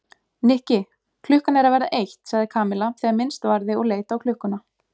Nikki, klukkan er að verða eitt sagði Kamilla þegar minnst varði og leit á klukkuna.